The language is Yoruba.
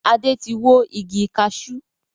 Adé tí wó igi kaṣú